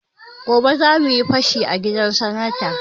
Gobe zamuyi fashi a gidan sanata